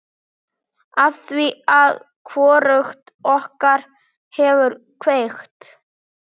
Afþvíað hvorugt okkar hefur kveikt.